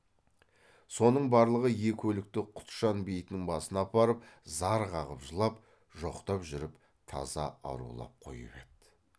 соның барлығы екі өлікті құтжан бейітінің басына апарып зар қағып жылап жоқтап жүріп таза арулап қойып еді